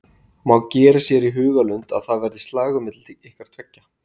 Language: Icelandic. Má gera sér í hugarlund að það verði slagur milli ykkar tveggja?